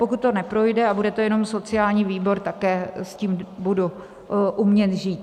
Pokud to neprojde a bude to jenom sociální výbor, také s tím budu umět žít.